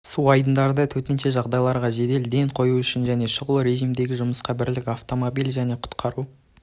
су айдындарында төтенше жағдайларға жедел ден қою үшін және шұғыл режимдегі жұмысқа бірлік автомобиль және құтқару